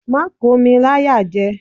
Má kò mi láyàjẹ!